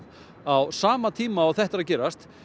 á sama tíma og þetta er að gerast